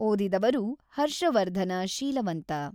ಓದಿದವರು: Harshavardhana Sheelavanta <><><>